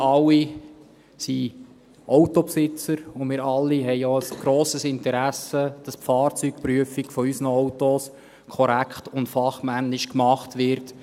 Wir alle sind Autobesitzer, und wir alle haben auch ein grosses Interesse, dass die Fahrzeugprüfung unserer Autos korrekt und fachmännisch gemacht wird.